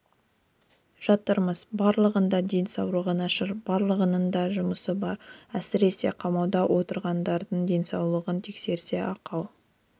жатырмыз барлығының да денсаулығы нашар барлығының да жұмысы бар әсіресе қамауда отырғандардың денсаулығын тексерсе ақау